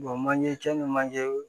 manje cɛ ni manje